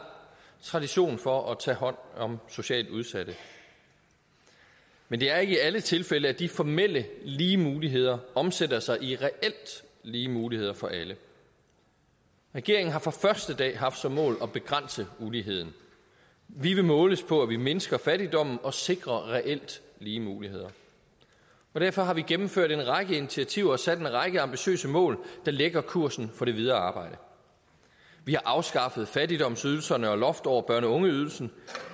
tradition for at tage hånd om socialt udsatte men det er ikke i alle tilfælde at de formelt lige muligheder omsætter sig i reelt lige muligheder for alle regeringen har fra første dag haft som mål at begrænse uligheden vi vil måles på at vi mindsker fattigdommen og sikrer reelt lige muligheder og derfor har vi gennemført en række initiativer og sat en række ambitiøse mål der lægger kursen for det videre arbejde vi har afskaffet fattigdomsydelserne og loftet over børne og ungeydelsen